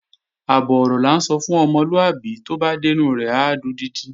Àbọ̀ ọ̀rọ̀ là ń sọ fún ọmọlúàbí, tó bá dẹ́nu rẹ̀ á dodidi